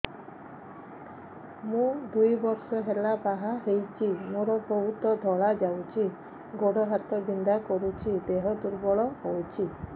ମୁ ଦୁଇ ବର୍ଷ ହେଲା ବାହା ହେଇଛି ମୋର ବହୁତ ଧଳା ଯାଉଛି ଗୋଡ଼ ହାତ ବିନ୍ଧା କରୁଛି ଦେହ ଦୁର୍ବଳ ହଉଛି